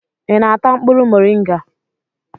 ị na-ata mkpụrụ moringa?